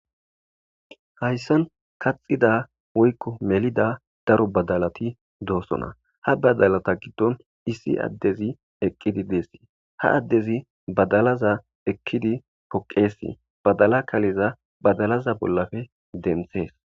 hayssan kaxida woykko melida daro badalati doosona ha badalata giddon issi addezi eqqidi deessi ha addezi badalaza eqkidi poqeesi badala kaliza badalaza bollafe denthees